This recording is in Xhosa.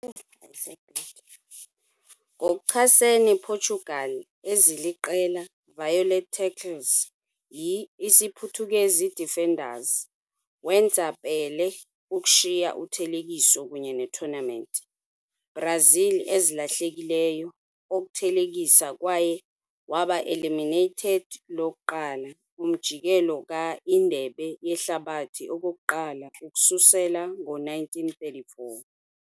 Ngokuchasene Portugal, eziliqela violent tackles yi-isiphuthukezi defenders wenza Pelé ukushiya uthelekiso kunye tournament. Brazil ezilahlekileyo oku thelekisa kwaye waba eliminated lokuqala umjikelo ka-Indebe Yehlabathi okokuqala ukususela 1934.